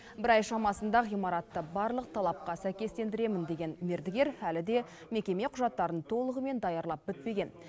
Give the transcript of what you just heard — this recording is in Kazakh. бір ай шамасында ғимаратты барлық талапқа сәйкестендіремін деген мердігер әлі де мекеме құжаттарын толығымен даярлап бітпеген